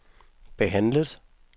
behandlet